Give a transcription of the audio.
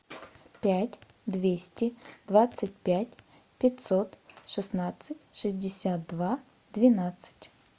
пять двести двадцать пять пятьсот шестнадцать шестьдесят два двенадцать